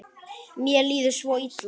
Mér líður svo illa